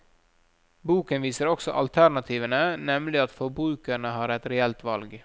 Boken viser også alternativene, nemlig at forbrukerne har et reelt valg.